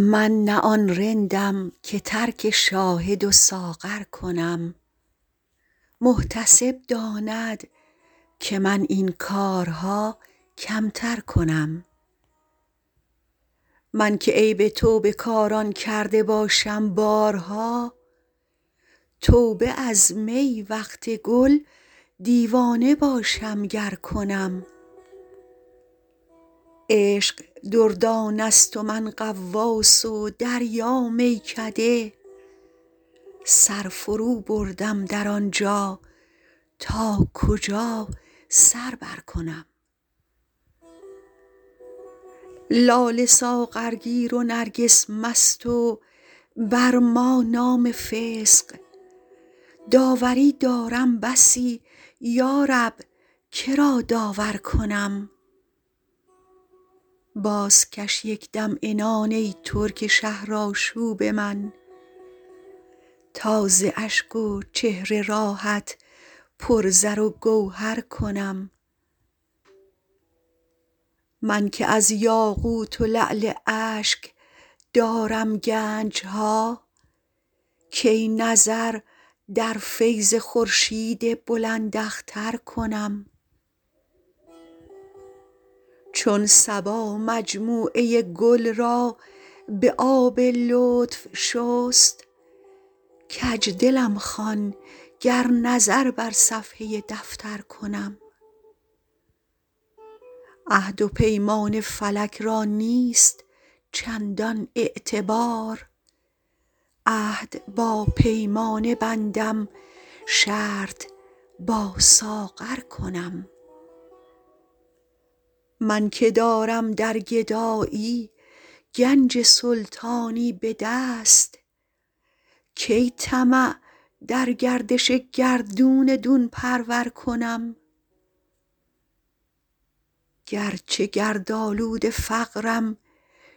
من نه آن رندم که ترک شاهد و ساغر کنم محتسب داند که من این کارها کمتر کنم من که عیب توبه کاران کرده باشم بارها توبه از می وقت گل دیوانه باشم گر کنم عشق دردانه ست و من غواص و دریا میکده سر فروبردم در آن جا تا کجا سر برکنم لاله ساغرگیر و نرگس مست و بر ما نام فسق داوری دارم بسی یا رب که را داور کنم بازکش یک دم عنان ای ترک شهرآشوب من تا ز اشک و چهره راهت پر زر و گوهر کنم من که از یاقوت و لعل اشک دارم گنج ها کی نظر در فیض خورشید بلنداختر کنم چون صبا مجموعه گل را به آب لطف شست کج دلم خوان گر نظر بر صفحه دفتر کنم عهد و پیمان فلک را نیست چندان اعتبار عهد با پیمانه بندم شرط با ساغر کنم من که دارم در گدایی گنج سلطانی به دست کی طمع در گردش گردون دون پرور کنم گر چه گردآلود فقرم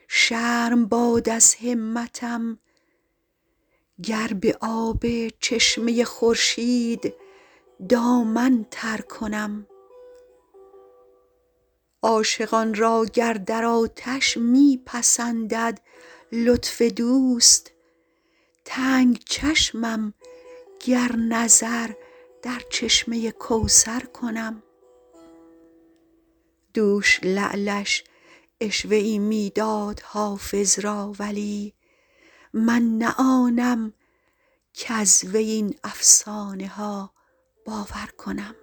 شرم باد از همتم گر به آب چشمه خورشید دامن تر کنم عاشقان را گر در آتش می پسندد لطف دوست تنگ چشمم گر نظر در چشمه کوثر کنم دوش لعلش عشوه ای می داد حافظ را ولی من نه آنم کز وی این افسانه ها باور کنم